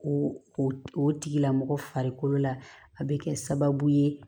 O o tigilamɔgɔ farikolo la a bɛ kɛ sababu ye